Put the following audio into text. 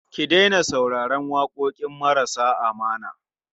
Ki daina sauraron waƙoƙi marasa ma'ana.